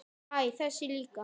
Æ, þessi líka